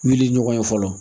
Wuli ɲɔgɔn ye fɔlɔ